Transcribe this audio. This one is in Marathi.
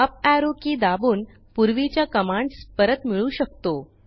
अप एरो के दाबून पूर्वीच्या कमांडस परत मिळवू शकतो